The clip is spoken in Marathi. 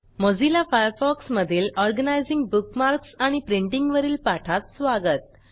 मोझिल्ला फायरफॉक्स मधील ऑर्गनायझिंग बुकमार्क्स आणि प्रिंटिंग वरील पाठात स्वागत